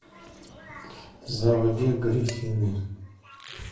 заводи гриффины